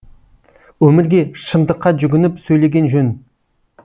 өмірге шындыққа жүгініп сөйлеген жөн